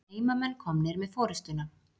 Heimamenn komnir með forystuna.